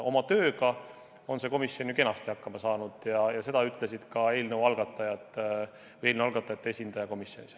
Oma tööga on see komisjon ju kenasti hakkama saanud ja seda ütles ka eelnõu algatajate esindaja komisjonis.